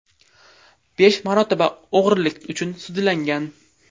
Besh marotaba o‘g‘rilik uchun sudlangan.